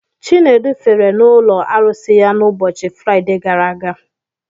Chinedu fere n'ụlọ arụsị ya n'ụbọchị Fraide gara aga.